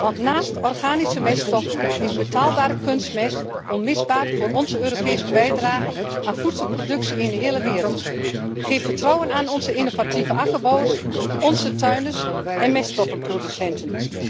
Want naast organische meststoffen is betaalbare kunstmest onmisbaar voor onze Europese bijdrage aan de voedselproductie in de hele wereld. Geef vertrouwen aan onze innovatieve akkerbouwers, onze tuinders en meststoffenproducenten.